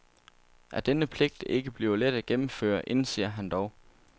At denne pligt ikke bliver let at gennemføre, indser han dog.